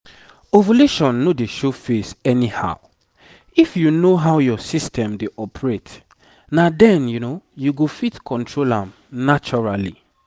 ovulation no dey show face anyhow. if you know how your system dey operate na then you go fit control am naturally